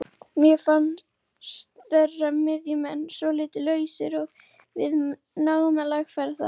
Mér fannst þeirra miðjumenn svolítið lausir og við náðum að lagfæra það.